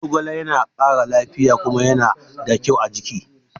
Zogale ya na ƙara lafiya kuma ya na da kyau a jiki